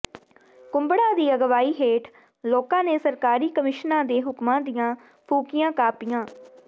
ਕੁੰਭੜਾ ਦੀ ਅਗਵਾਈ ਹੇਠ ਲੋਕਾਂ ਨੇ ਸਰਕਾਰੀ ਕਮਿਸ਼ਨਾਂ ਦੇ ਹੁਕਮਾਂ ਦੀਆਂ ਫੂਕੀਆਂ ਕਾਪੀਆਂ